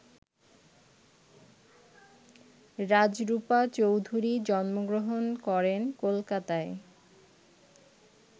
রাজরূপা চৌধুরী জন্মগ্রহণ করেন কলকাতায়।